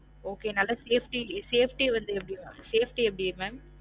Okay நல்லா safety safety வந்து எப்படி safety எப்படி mam